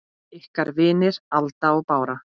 Ykkar vinir, Alda og Bára.